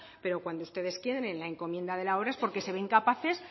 pero cuando ustedes tienen la encomienda de la obra es porque son incapaces